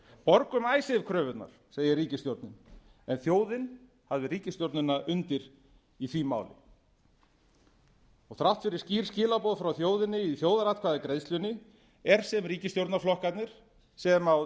borgum icesave kröfurnar segir ríkisstjórnin en þjóðin hafði ríkisstjórnina undir í því máli þrátt fyrir skýr skilaboð frá þjóðinni í þjóðaratkvæðagreiðslunni er sem ríkisstjórnarflokkarnir sem á